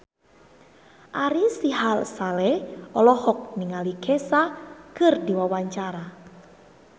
Ari Sihasale olohok ningali Kesha keur diwawancara